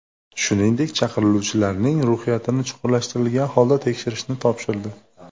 Shuningdek, chaqiriluvchilarning ruhiyatini chuqurlashtirilgan holda tekshirishni topshirdi.